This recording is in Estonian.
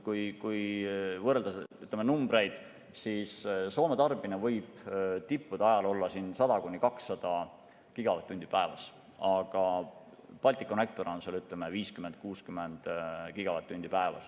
Kui võrrelda numbreid, siis Soome tarbimine võib tippude ajal olla 100–200 gigavatt-tundi päevas, aga Balticconnector annab 50–60 gigavatt-tundi päevas.